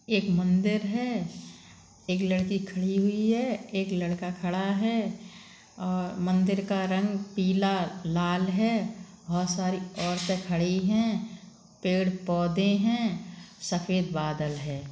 एक मंदिर है। एक लड़की खड़ी हुई है। एक लड़का खड़ा है ओर मंदिर का रंग पीला लाल है। बहुत सारी औरते खड़ी है। पेड़ पोधे है सफेद बादल है।